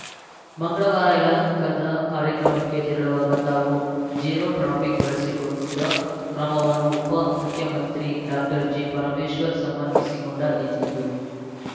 ಮಂಗಳವಾರ ಯಲಹಂಕದ ಕಾರ್ಯಕ್ರಮಕ್ಕೆ ತೆರಳುವಾಗ ತಾವು ಜೀರೋ ಟ್ರಾಫಿಕ್‌ ಬಳಸಿಕೊಂಡ ಕ್ರಮವನ್ನು ಉಪ ಮುಖ್ಯಮಂತ್ರಿ ಡಾಕ್ಟರ್ ಜಿಪರಮೇಶ್ವರ್‌ ಸಮರ್ಥಿಸಿಕೊಂಡ ರೀತಿಯಿದು